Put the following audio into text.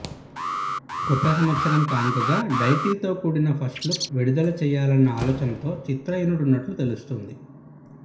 కొత్త సంవత్సరం కానుకగా డైటిల్ తో కూడిన ఫస్ట్ లుక్ విడుదల చేయాలనే ఆలోచనలో చిత్ర యూనిట్ ఉన్నట్లు తెలుస్తుంది